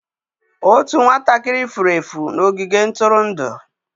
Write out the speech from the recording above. Otu nwatakịrị furu efu n'ogige ntụrụndụ.